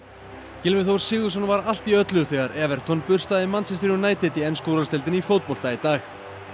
Gylfi Þór Sigurðsson var allt í öllu þegar Everton burstaði Manchester United í ensku úrvalsdeildinni í fótbolta í dag